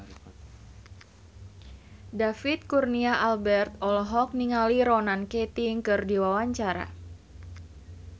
David Kurnia Albert olohok ningali Ronan Keating keur diwawancara